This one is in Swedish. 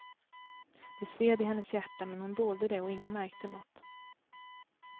Det sved i hennes hjärta, men hon dolde det och ingen märkte något.